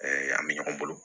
an bɛ ɲɔgɔn bolo